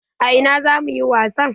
A ina zamu yi wasan?